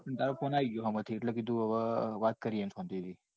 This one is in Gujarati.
તારો phone આવી ગયો સામે થી એટલે કીધું વાત કરીએ એમ શાંતિ થી.